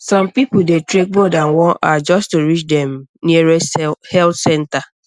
some people dey trek more than one hour just to reach the um nearest health center